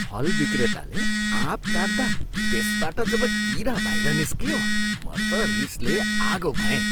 फल विक्रेताले आँप काट्दा त्यसबाट जब कीरा बाहिर निस्कियो, म त रिसले आगो भएँ।